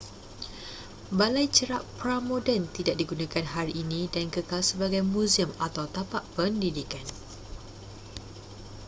balai cerap pra-moden tidak digunakan hari ini dan kekal sebagai muzium atau tapak pendidikan